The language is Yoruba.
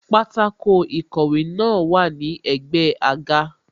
Pátákó ìkọ̀wé náà wà ní ẹ̀gbẹ́ àga